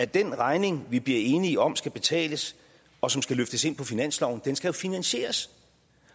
den regning vi bliver enige om skal betales og som skal løftes ind på finansloven skal jo finansieres